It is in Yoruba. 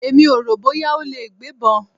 Èmi ò rò bóyá ó lè gbébọn.